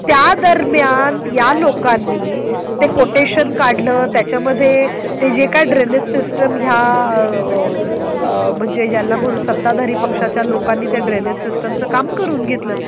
त्या दरम्यान या लोकांनी ते कोटेशन काढलं त्याच्या मध्ये ते जे काही ड्रेनेज सिस्टम. या म्हणजे ज्यांना म्हणून सत्ताधारी पक्षाच्या लोकांनी त्या ड्रेनेज सिस्टमचं काम करून घेतलं.